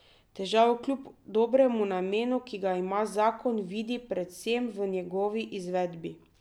Težavo kljub dobremu namenu, ki ga ima zakon, vidi predvsem v njegovi izvedbi.